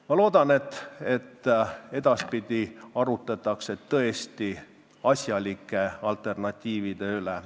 Ma loodan, et edaspidi arutletakse tõesti asjalike alternatiivide üle.